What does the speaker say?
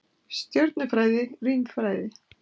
Stjörnufræði, rímfræði.